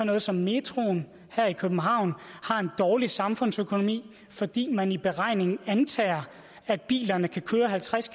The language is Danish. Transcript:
noget som metroen her i københavn har en dårlig samfundsøkonomi fordi man i beregningen antager at bilerne kan køre halvtreds